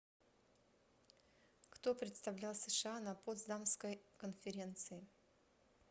кто представлял сша на потсдамской конференции